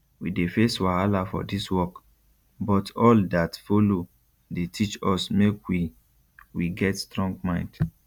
we dey face wahala for dis work but all dat follow dey teach us make we we get strong mind